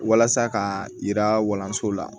Walasa ka yira walanso la